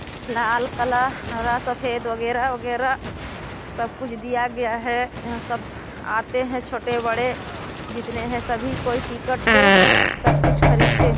लाल colour हरा सफ़ेद वगेरा-वगेरा सब कुछ दिया गया हैं सब आते हैं छोटे-बड़े जितने हैं सभी कोई टिकट से सब कुछ खरीदते--